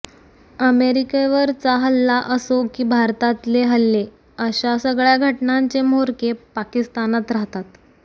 अमेरिकेवरचा हल्ला असो की भारताततले हल्ले अशा सगळ्या घटनांचे म्होरके पाकिस्तानात राहतात